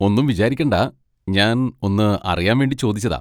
ഒന്നും വിചാരിക്കണ്ട, ഞാൻ ഒന്ന് അറിയാൻ വേണ്ടി ചോദിച്ചതാ.